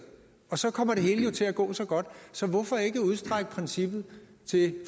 og så kommer det hele jo til at gå så godt så hvorfor ikke udstrække princippet til